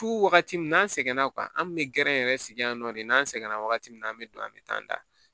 Fu wagati min n'an sɛgɛnna an kun bɛ gɛrɛ yɛrɛ sigi yan nɔ de n'an sɛgɛnna wagati min na an be don an be taa an da